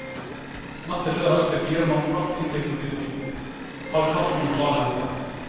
Natt til lørdag ble fire mann bragt inn til politistasjonen, halvparten lokale helter.